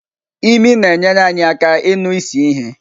Imi na-enyere anyị aka ịnụ isi ihe.